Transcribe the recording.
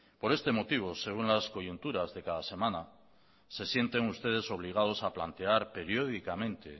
por este motivo según las coyunturas de cada semana se sienten ustedes obligados a plantear periódicamente